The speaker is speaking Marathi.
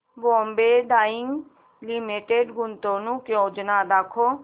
बॉम्बे डाईंग लिमिटेड गुंतवणूक योजना दाखव